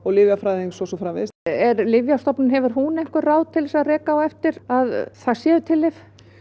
lyfjafræðings og svo framvegis en Lyfjastofnun hefur hún einhver ráð til þess að reka á eftir að það séu til lyf